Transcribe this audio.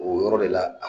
O yɔrɔ de la